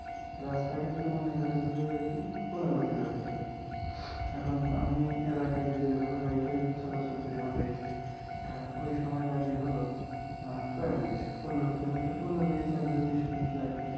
রাস্তা কিন্তু মনে করেন যে পনেরো kilometer এখন আমি এলাকায় যে যেভাবে bike এ চলাচল করি আমার bike এ তা ওই সময় লাগে হল আহ কয় মিনিট পনের kilometer পনের minute লাগবে বিশ minute লাগবে